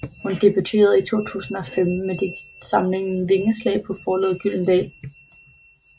Hun debuterede i 2015 med digtsamlingen Vingeslag på forlaget Gyldendal